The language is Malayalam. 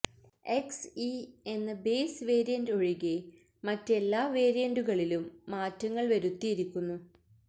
എക്സ്ഇ എന്ന ബേസ് വേരിയന്റ് ഒഴികെ മറ്റെല്ലാ വേരിയന്റുകളിലും മാറ്റങ്ങള് വരുത്തിയിരിക്കുന്നു